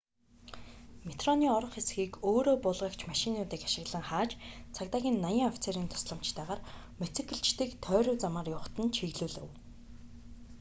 метроны орох хэсгийг өөрөө буулгагч машинуудыг ашиглан хааж цагдаагийн 80 офицерийн тусламжтайгаар мотоциклчидыг тойруу замаар явахад нь чиглүүлэв